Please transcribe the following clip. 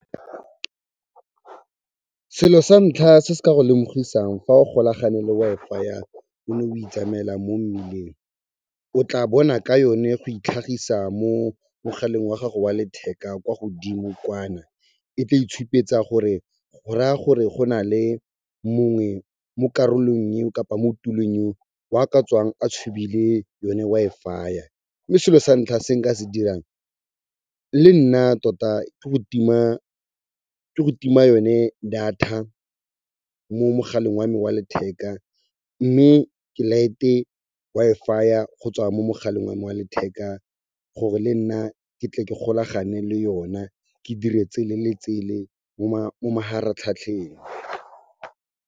Selo sa ntlha se se ka go lemogisang fa o golagane le Wi-Fi-ya o ne o itsamela mo mmileng, o tla bona ka yone go itlhagisa mo mogaleng wa gago wa letheka kwa godimo kwana. E tla itshupetsa gore go raya gore go nale mongwe mo karolong eo kapa mo tulong eo, wa ka tswang a tshubile yone Wi-Fi-ya, mme selo sa ntlha se nka se dirang le nna tota ke go tima yone data mo mogaleng wa me wa letheka mme ke laete Wi-Fi-ya go tswa mo mogaleng wa me wa letheka gore le nna ke tle ke golagane le yona ke dire tsele le tsele mo maharatlhatlheng.